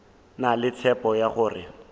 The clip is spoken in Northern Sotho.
na le tshepo ya gore